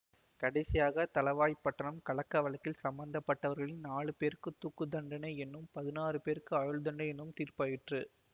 கடைசியாக தளவாய்ப்பட்டணம் கலக்ககவழக்கில் சம்பந்தப்பட்டவர்களில் நாலு பேருக்குத் தூக்கு தண்டனை என்றும் பதினாறு பேருக்கு ஆயுள்தண்டனை என்றும் தீர்ப்பாயிற்று